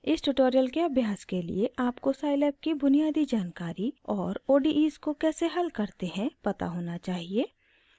इस ट्यूटोरियल के अभ्यास के लिए आपको scilab की बुनियादी जानकारी और odes को कैसे हल करते हैं पता होना चाहिए